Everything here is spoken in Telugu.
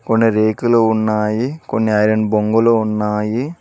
కొన్ని రేకులు ఉన్నాయి కొన్ని ఐరన్ బొంగులు ఉన్నాయి.